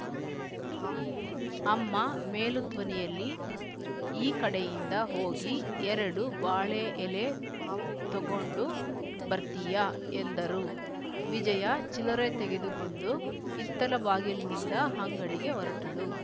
ಅಮ್ಮ ಮೇಲು ಧ್ವನಿಯಲ್ಲಿ ಈ ಕಡೆಯಿಂದ ಹೋಗಿ ಎರಡು ಬಾಳೆ ಎಲೆ ತೊಗೊಂಡು ಬರ್ತೀಯಾ ಎಂದರು ವಿಜಯ ಚಿಲ್ಲರೆ ತೆಗೆದುಕೊಂಡು ಹಿತ್ತಲ ಬಾಗಿಲಿನಿಂದ ಅಂಗಡಿಗೆ ಹೊರಟಳು